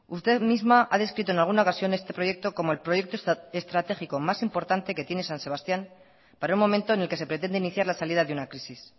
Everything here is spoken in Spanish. usted misma ha descrito en alguna ocasión este proyecto como el proyecto estratégico más importante que tiene san sebastián para un momento en el que se pretende iniciar la salida de una crisis